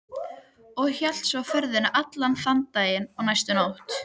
Og hélt svo ferðinni allan þann dag og næstu nótt.